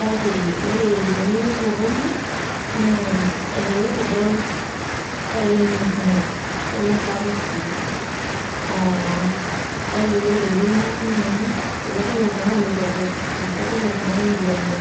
kake ore tenilo osokoni naa elelek idol kake mee kumok nemesapuk sii. Aa kake ore te wuei nati nanu itu adol oltung'ani loitobir, itu adol oltung'ani lomir